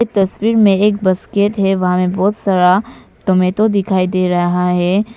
तस्वीर में एक बास्केट है वहां में बहुत सारा टोमैटो दिखाई दे रहा है।